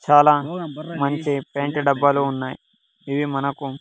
చాలా మంచి పెంట్ డబ్బాలు ఉన్నాయి ఇవి మనకు.